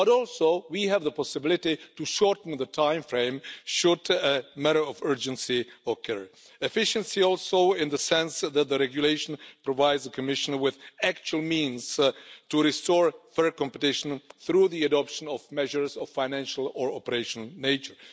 We also have the possibility of shortening the timeframe should a matter of urgency arise. And efficiency also in the sense that the regulation provides the Commission with actual means to restore fair competition through the adoption of measures of a financial or operational nature.